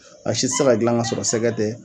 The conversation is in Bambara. A si tɛ se ka gilan ka sɔrɔ sɛgɛ tɛ.